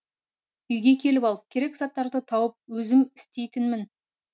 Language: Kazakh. үйге келіп алып керек заттарды тауып өзім істейтінмін